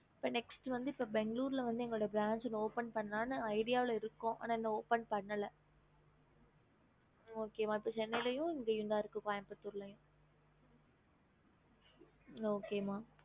NEXT பெங்களூர்ல OPEN பண்ணலன்னு இருக்கோம்